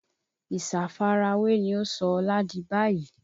Ìsafarawé ni ó sọ Ọlá di báyìí